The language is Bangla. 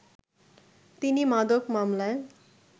তিনি মাদক মামলায়